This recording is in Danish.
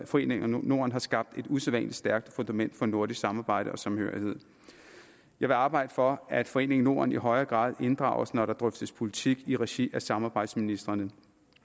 foreningen norden har skabt et usædvanlig stærkt fundament for nordisk samarbejde og samhørighed jeg vil arbejde for at foreningen norden i højere grad inddrages når der drøftes politik i regi af samarbejdsministrene